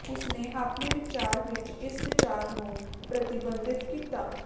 ਉਸਨੇ ਆਪਣੇ ਵਿਚਾਰ ਵਿੱਚ ਇਸ ਵਿਚਾਰ ਨੂੰ ਪ੍ਰਤੀਬਿੰਬਤ ਕੀਤਾ